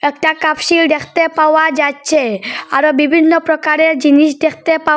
একটা কাপ শীল দেখতে পাওয়া যাচ্ছে আরো বিভিন্ন প্রকারের জিনিস দেখতে পাওয়া--